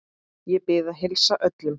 Ég bið að heilsa öllum.